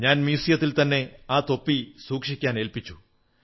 ഞാൻ മ്യൂസിയത്തിൽ തന്നെ ആ തൊപ്പി സൂക്ഷിക്കാനേൽപ്പിച്ചു